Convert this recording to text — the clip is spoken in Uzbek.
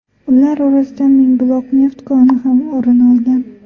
Ular orasidan Mingbuloq neft koni ham o‘rin olgan .